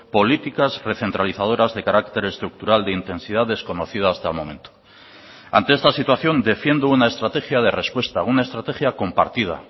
políticas recentralizadoras de carácter estructural de intensidad desconocida hasta el momento ante esta situación defiendo una estrategia de respuesta una estrategia compartida